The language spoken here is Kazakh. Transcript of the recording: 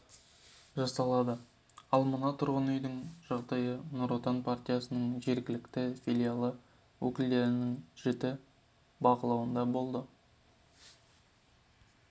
жасалады ал мына тұрғын үйдің жағдайы нұр отан партиясының жергілікті филиалы өкілдерінің жіті бақылауында болады